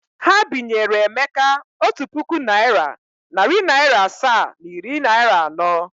Ha binyere Emeka otu puku naịra, narị naịra asaa na iri naịra anọ.